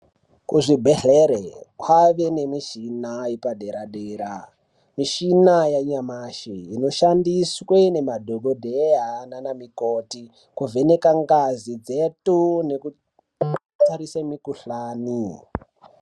Kuzvibhendleri kwave nemichina yepadera dera. Michina yanyamashi inoshandiswa ngemadhokodheya nanamukoti kuvheneka ngazi dzedu nekutarisa mikhuhlani.